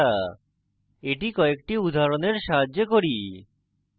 এটি কয়েকটি উদাহরণের সাহায্যে করি